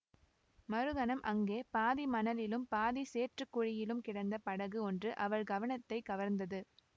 மறுகணம் அங்கே பாதி மணலிலும் பாதி சேற்றுக் குழியிலும் கிடந்த படகு ஒன்று அவள் கவனத்தைக் கவர்ந்தது